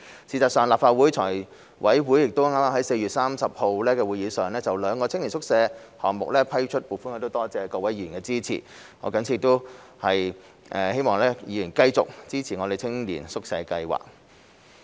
事實上，立法會財務委員會剛在4月30日的會議上就兩個青年宿舍項目批出撥款，我多謝各位議員的支持，亦藉此希望議員繼續支持青年宿舍計劃。